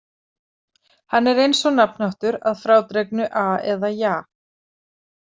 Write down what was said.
Hann er eins og nafnháttur að frádregnu-a eða-ja.